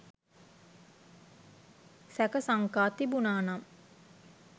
සැක සංකා තිබුනානම්